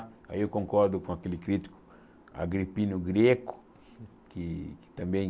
Aí eu concordo com aquele crítico agripino greco, que que também...